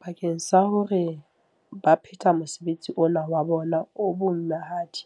Bakeng sa hore ba phethe mosebetsi ona wa bona o boimahadi,